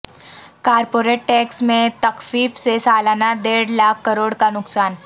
corporate tax میں تخفیف سے سالانہ دیڑھ لاکھ کروڑ کا نقصان